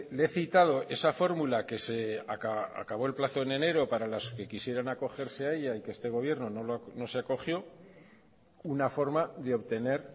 le he citado esa fórmula que se acabó el plazo en enero para las que quisieran acogerse a ella y que este gobierno no se acogió una forma de obtener